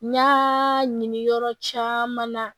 N y'aa ɲini yɔrɔ caman na